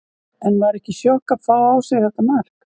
En var ekki sjokk að fá á sig þetta mark?